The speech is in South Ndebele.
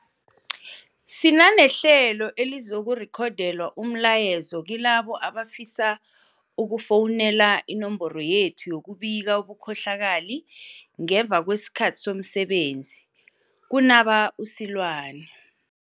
Sinanehlelo elizirekhodela umlayezo kilabo abafisa uku fowunela inomboro yethu yokubika ubukhohlakali ngemva kwesikhathi somsebenzi, kunaba u-Seloane.